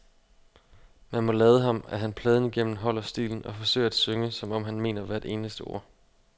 Man må lade ham, at han pladen igennem holder stilen og forsøger at synge, som om han mener hvert eneste ord.